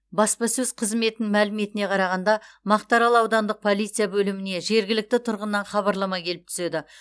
баспасөз қызметінің мәліметіне қарағанда мақтаарал аудандық полиция бөліміне жергілікті тұрғыннан хабарлама келіп түседі